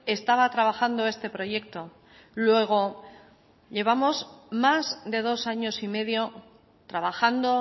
estaba trabajando este proyecto luego llevamos más de dos años y medio trabajando